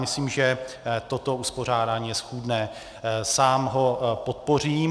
Myslím, že toto uspořádání je schůdné, sám ho podpořím.